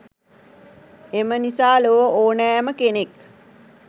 එම නිසා ලොව ඕනෑම කෙනෙක්